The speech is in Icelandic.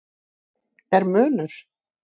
Er munur?